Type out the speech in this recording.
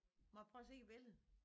Må jeg prøve at se æ billede?